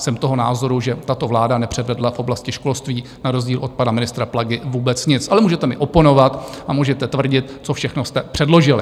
Jsem toho názoru, že tato vláda nepřevedla v oblasti školství na rozdíl od pana ministra Plagy vůbec nic, ale můžete mi oponovat a můžete tvrdit, co všechno jste předložili.